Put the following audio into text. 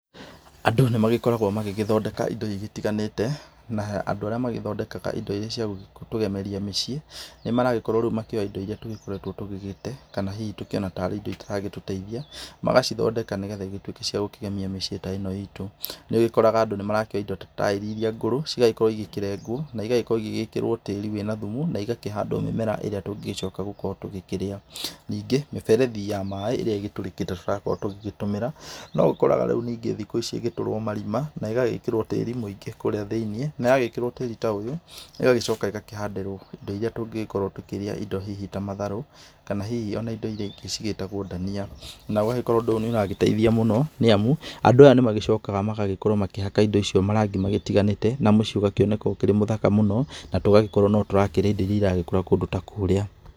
Andũ nĩmakoragwa magĩgĩthondeka indo igĩtiganĩte, na andũ arĩa magĩthondekaga indo irĩa ciagũtũgemeria mĩciĩ nĩmaragĩkorwa rĩũ makĩoya indo irĩa tũgikoretwe tũgĩgite kana hihi kana indo irĩa itaratũteithia, magacithondeka nĩgetha itũĩke ciakũgemia mĩciĩ ta ĩno itũ, nĩũgikoraga andũ nĩmaroya indo ta yaĩri iria ngũrũ cigagĩkorwo cikirengwo na igagĩkorwo cigĩkĩrwo tĩri wĩna thumu na ĩgakĩhandwo mĩmera ĩrĩa tũngĩgicoka gũkorwo tũgĩkĩrĩa, ningĩ mĩberethi ya maĩ ĩrĩa ĩgĩtũrĩkĩte tũragĩkorwo tũgĩtũmĩra noũkoraga rĩũ thikũ ici igĩtũrwo marima na igagĩkĩrwa tĩri mũingĩ kũrĩa thĩinĩ na wagĩkĩrwa tĩri ta ũyũ ĩgagĩcoka ĩkahandĩrwo indo iria tũngĩgĩkorwo tũkĩrĩa indo hihi ta matharũ kana hihi ona indo irĩa ingĩ cigĩtagwo ndania na wagĩkorwo nĩũragĩteithia mũno nĩamu andũ aya nĩmagĩcokaya makihanda indo icio marangi matiganĩte na mũciĩ ũkoneka ũri mũthaka mũno na tũgagĩkorwo nĩtũrarĩa indo irĩa irakũra kũndũ ta kũrĩa.